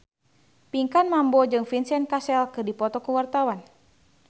Pinkan Mambo jeung Vincent Cassel keur dipoto ku wartawan